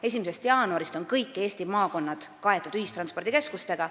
1. jaanuarist on kõik Eesti maakonnad kaetud ühistranspordikeskustega.